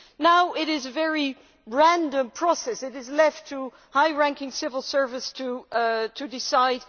Now it is a very random process which is left to high ranking civil servants to decide.